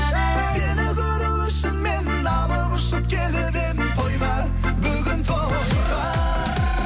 сені көру үшін мен алып ұшып келіп едім тойға бүгін тойға